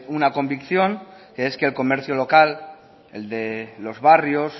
una convicción que es el que el comercio local el de los barrios